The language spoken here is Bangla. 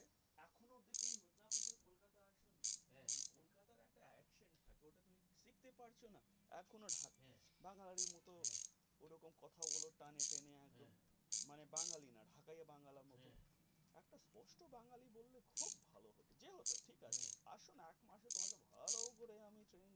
দেখতে পারছ না এক হল বাঙালির মত ওরকম কথাগুলো টানে টেনে মানে বাঙালি না ঢাকাইয়া বাংলার মত এত স্পষ্ট বাঙালি বললে খুব ভালো হোত যেহেতু ঠিক আছে আসো না এক মাত্র ভাল করে আমি